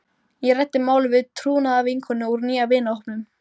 Ég ræddi málið við trúnaðarvinkonu úr nýja vinahópnum.